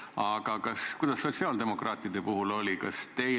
Aga kuidas sotsiaaldemokraatide puhul oli?